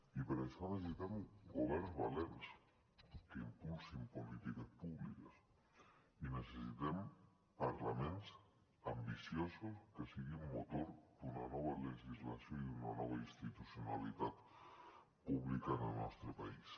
i per això necessitem governs valents que impulsin polítiques públiques i necessitem parlaments ambiciosos que sigui motor d’una nova legislació i d’una nova institucionalitat pública en el nostre país